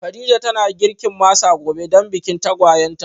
Kadija tana girkin masa gobe dan bikin tagwayen ta